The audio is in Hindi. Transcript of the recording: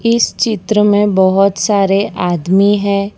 इस चित्र में बहोत सारे आदमी है।